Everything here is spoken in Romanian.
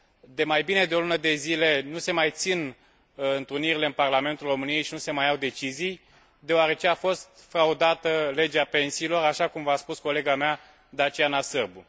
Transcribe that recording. De mai bine de o lună de zile, nu se mai țin întrunirile în Parlamentul României și nu se mai iau decizii, deoarece a fost fraudată legea pensiilor, așa cum v a spus colega mea, Daciana Sârbu.